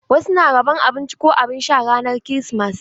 Wasu na rabon abinci ko abin sha ranar kirismas.